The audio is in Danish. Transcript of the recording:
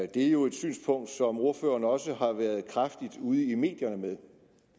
det er jo et synspunkt som ordføreren også har været kraftigt ude i medierne med